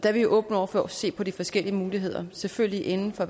er vi åbne over for at se på de forskellige muligheder selvfølgelig inden for